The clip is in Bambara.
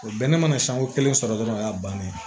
O bɛɛ ne mana siɲɛko kelen sɔrɔ dɔrɔn o y'a bannen ye